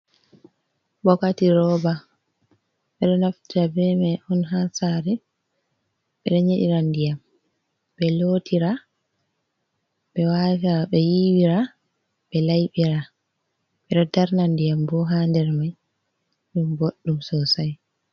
Bokati roba ɓeɗo naftira be mai on ha sare ɓeɗo nyedira diyam ɓe lotira ɓe wata ɓe yiiwira ɓe laiiɓira ɓeɗo darna diyam bo ha dermai ɗum boɗɗum sosai.